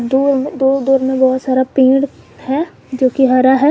दूर में दूर दूर में बहुत सारा पेड़ है जो की हरा है।